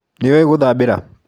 Nĩũĩ ngũthambĩra?